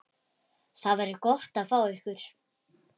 Það verður gott að fá ykkur.